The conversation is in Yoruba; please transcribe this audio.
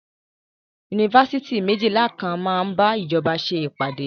Yunifásitì méjìlà kan máa bá ìjọba ṣe ìpàdé.